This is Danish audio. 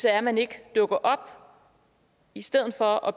er at man ikke dukker op i stedet for at